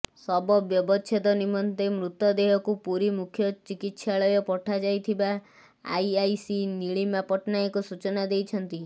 ଶବ ବ୍ୟବଚ୍ଛେଦ ନିମନ୍ତେ ମୃତଦେହକୁ ପୁରୀ ମୁଖ୍ୟ ଚିକିତ୍ସାଳୟ ପଠାଯାଇଥିବା ଆଇଆଇସି ନୀଳିମା ପଟ୍ଟନାୟକ ସୂଚନା ଦେଇଛନ୍ତି